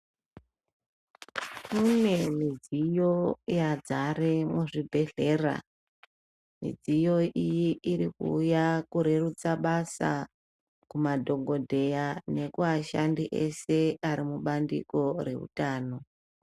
Mune midziyo yadzare muzvibhedhlera midziyo iyi iri kuuya kurerutsa basa kumadhokodheya nekumashandi eshe Ari mubandiko Rezvehutano.